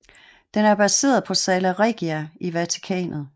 Den er baseret på Sala Regia i Vatikanet